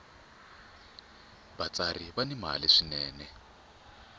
vatsari va ni mali swinene